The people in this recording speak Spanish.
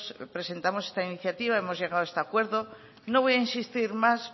presentamos esta iniciativa hemos llegado a este acuerdo y no voy a insistir más